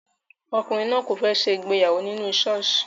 Ọkùnrin náà kò fẹ́ ṣe ìgbéyàwó nínú ṣọ́ọ̀ṣì